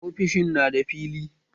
Ofishin na da fili